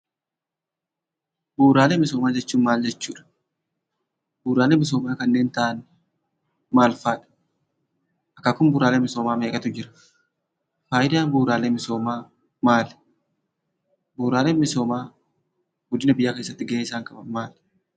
Bu'uuraalee misoomaa jechuun maal jechuudha? Bu'uuraalee misoomaa kanneen ta'an maal faadha? Akaakuun bu'uuraalee misoomaa meeqatu jira? Faayidaan bu'uuraalee misoomaa maali? Bu'uuraalee misoomaa guddina biyyaa keessatti gahee isaan qaban maali?